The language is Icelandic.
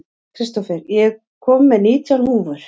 Kristófer, ég kom með nítján húfur!